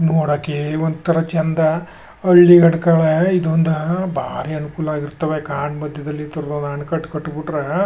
ನೋಡಕ್ಕೆ ಒಂಥರಾ ಚೆಂದ ಹಳ್ಳಿ ಇದು ಒಂದ್ ಭಾರಿ ಅನುಕೂಲವಾಗಿರುತ್ತವೆ ಕಾಡ್ ಮಧ್ಯದಲ್ಲಿ ಈ ಥರ ಒಂದ್ ಆಣೆಕಟ್ಟು ಕಟ್ಬಿಟ್ರೆ--